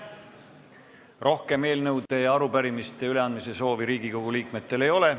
Rohkem eelnõude ja arupärimiste üleandmise soovi ei ole.